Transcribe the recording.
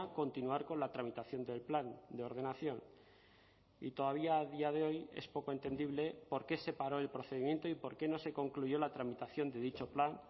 continuar con la tramitación del plan de ordenación y todavía a día de hoy es poco entendible por qué se paró el procedimiento y por qué no se concluyó la tramitación de dicho plan